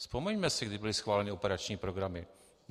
Vzpomeňme si, kdy byly schváleny operační programy.